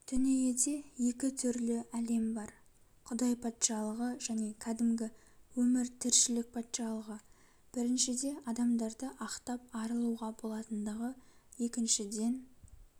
дүниеде екі түрлі әлем бар құдай патшалығы және кәдімгі өмір тіршілік патшалығы біріншіде адамдарды ақтап арылуға болатындығы екіншіден